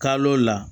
Kalo la